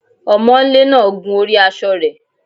Ọmọńlé náà gun orí aṣọ rẹ̀